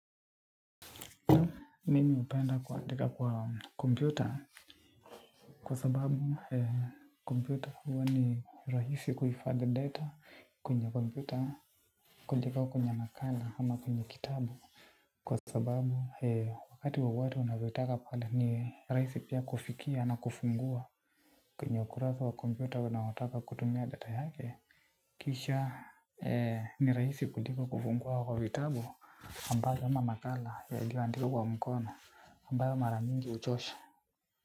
Nimi upenda kuandika kwa kompyuta. Kwa sababu kompyuta huwa ni rahisi kuifadhi data kwenye kompyuta kuliko kwenye makala ama kwenye kitabu. Kwa sababu wakati wowote unavotaka pala ni rahisi pia kufikia na kufungua kwenye ukurasa wa kompyuta unaotaka kutumia data yake. Kisha ni rahisi kuliko kufungua kwa vitabu ambayo yana makala yalioandikwa kwa mkono ambayo mara mingi uchosha.